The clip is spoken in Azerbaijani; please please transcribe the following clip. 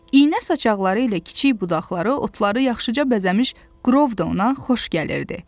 İynə saçaqları ilə kiçik budaqları, otları yaxşıca bəzəmiş qrov da ona xoş gəlirdi.